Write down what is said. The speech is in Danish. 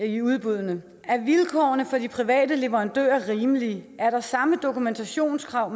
i udbuddene er vilkårene for de private leverandører rimelige er der samme dokumentationskrav